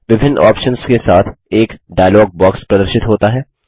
विभिन्न ऑप्शन्स के साथ एक डायलॉग बॉक्स प्रदर्शित होता है